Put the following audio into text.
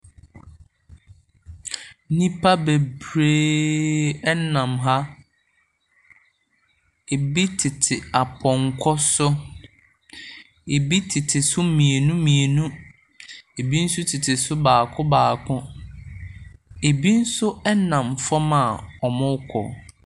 Nnipa bebreeeeeee nam ha. Ɛbi tete apɔnkɔ so. Ɛbi tete so mmienu mmienu. Ɛbi nso tete so baako baako. Ɛbi nso nam fam a wɔrekɔ.